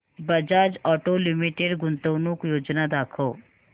Bajaj auto limited गुंतवणूक योजना दाखव